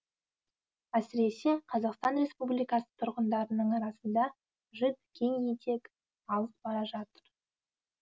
әсіресе қазақстан республикасы тұрғындарының арасында житс кең етек алыс бара жатыр